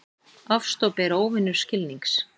Ofstopi er óvinur skilnings.